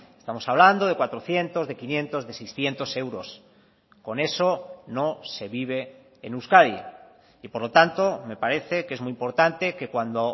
estamos hablando de cuatrocientos de quinientos de seiscientos euros con eso no se vive en euskadi y por lo tanto me parece que es muy importante que cuando